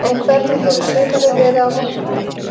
En hvernig hefur sumarið verið á Vopnafirði?